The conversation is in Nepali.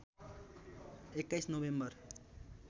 २१ नोभेम्बर